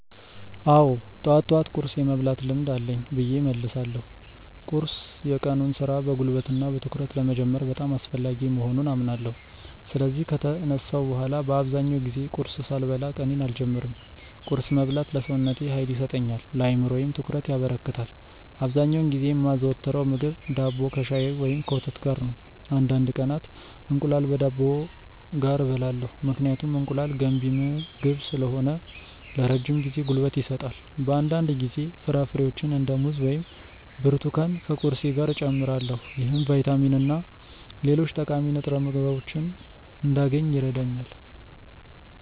አዎ፣ ጠዋት ጠዋት ቁርስ የመብላት ልምድ አለኝ ብዬ እመልሳለሁ። ቁርስ የቀኑን ሥራ በጉልበትና በትኩረት ለመጀመር በጣም አስፈላጊ መሆኑን አምናለሁ። ስለዚህ ከተነሳሁ በኋላ በአብዛኛው ጊዜ ቁርስ ሳልበላ ቀኔን አልጀምርም። ቁርስ መብላት ለሰውነቴ ኃይል ይሰጠኛል፣ ለአእምሮዬም ትኩረት ያበረክታል። አብዛኛውን ጊዜ የማዘወትረው ምግብ ዳቦ ከሻይ ወይም ከወተት ጋር ነው። አንዳንድ ቀናት እንቁላል ከዳቦ ጋር እበላለሁ፣ ምክንያቱም እንቁላል ገንቢ ምግብ ስለሆነ ለረጅም ጊዜ ጉልበት ይሰጣል። በአንዳንድ ጊዜ ፍራፍሬዎችን እንደ ሙዝ ወይም ብርቱካን ከቁርሴ ጋር እጨምራለሁ። ይህም ቫይታሚንና ሌሎች ጠቃሚ ንጥረ ምግቦችን እንዳገኝ ይረዳኛል።